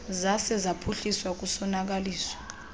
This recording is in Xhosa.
zaze zaphuhliswa kusonakaliswa